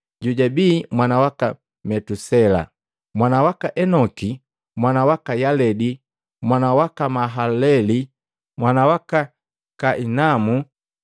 jojabi mwana waka Metusela, mwana waka Enoki, mwana waka Yaledi, mwana waka Mahalaleli, mwana waka Kainamu,